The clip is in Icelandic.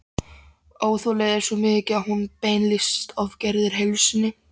Óþolið er svo mikið að hún beinlínis ofgerir heilsunni.